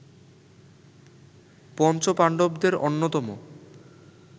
পঞ্চপাণ্ডবদের অন্যতম